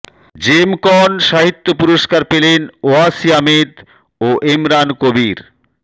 জেমকন সাহিত্য পুরস্কার পেলেন ওয়াসি আহমেদ ও এমরান কবির